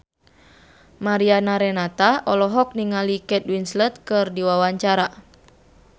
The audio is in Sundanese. Mariana Renata olohok ningali Kate Winslet keur diwawancara